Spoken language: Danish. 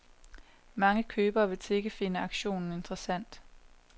Mange købere vil sikkert finde auktionen interessant.